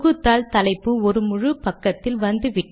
பெறுநர் முகவரி முதலில் வரும்